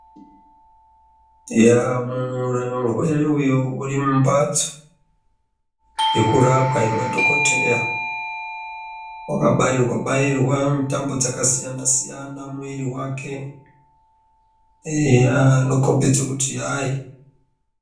Eya mushini uyo uri mumhatsi yekurapwa yemadhokodheya wakabairwa bairwa tambo dzakasiyana siyana muwiri wake eya anokhombedze kuti hai.